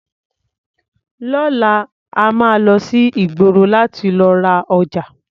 Lọ́la, a máa lọ sí ìgboro láti lọ ra ọjà.